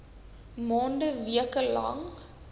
maande weke lang